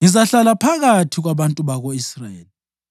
Ngizahlala phakathi kwabantu bako-Israyeli